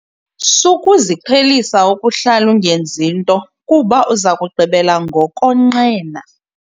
Sukuziqhelisa ukuhlala ungenzi nto kuba uza kugqibela ngokonqena.